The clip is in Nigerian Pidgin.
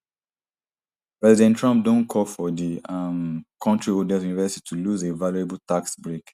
president trump don call for di um kontri oldest university to lose a valuable tax break